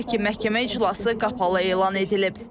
Hər iki məhkəmə iclası qapalı elan edilib.